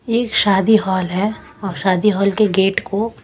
एक शादी हॉल है और शादी हॉल के गेट को--